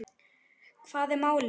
Hvað er málið?